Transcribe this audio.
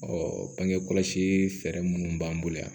bange kɔlɔsi fɛɛrɛ minnu b'an bolo yan